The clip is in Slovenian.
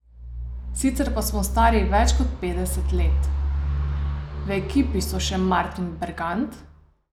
Sicer pa smo stari več kot petdeset let.